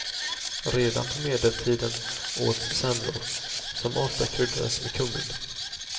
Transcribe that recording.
Redan på medeltiden åts semlor, som ofta kryddades med kummin.